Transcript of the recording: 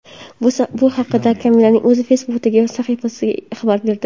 Bu haqda Kamillaning o‘zi Facebook’dagi sahifasida xabar berdi .